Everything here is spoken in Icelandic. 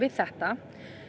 þetta